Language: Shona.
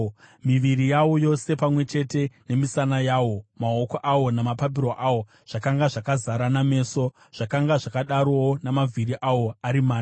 Miviri yawo yose, pamwe chete nemisana yawo, maoko awo namapapiro awo, zvakanga zvakazara nameso, zvakanga zvakadarowo namavhiri awo ari mana.